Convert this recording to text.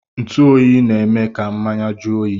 Ntuoyi na-eme ka mmanya jụọ oyi